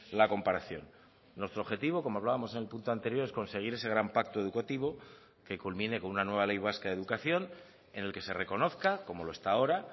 la comparación nuestro objetivo como hablábamos en el punto anterior es conseguir ese gran pacto educativo que culmine con una nueva ley vasca de educación en el que se reconozca como lo está ahora